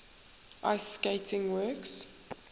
ice skating works